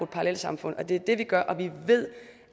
parallelsamfund og det er det vi vil gøre og vi ved